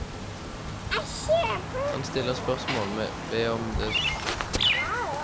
Han stiller spørsmål ved om det er legenes ønske om overtidspenger som skaper uvilje mot å ta inn flere leger.